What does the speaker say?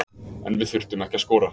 En við þurftum ekki að skora